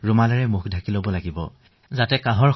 আৰু যেতিয়া আপুনি কাহিব তেতিয়া ৰুমাল ব্যৱহাৰ কৰক